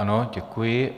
Ano, děkuji.